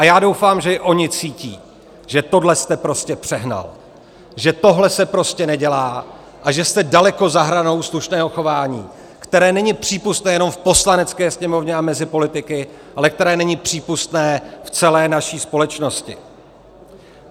A já doufám, že i oni cítí, že tohle jste prostě přehnal, že tohle se prostě nedělá a že jste daleko za hranou slušného chování, které není přípustné nejenom v Poslanecké sněmovně a mezi politiky, ale které není přípustné v celé naší společnosti.